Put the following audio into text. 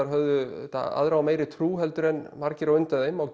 höfðu aðra og meiri trú heldur en margir á undan þeim á